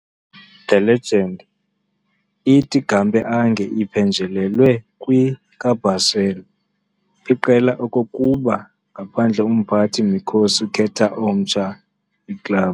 the legend ithi Gamper ange iphenjelelwe kwi-i-ka - Basel, iqela okokuba ngaphandle umphathi-mikhosi, khetha omtsha club.